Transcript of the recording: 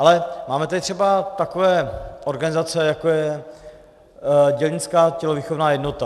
Ale máme tady třeba takové organizace, jako je Dělnická tělovýchovná jednota.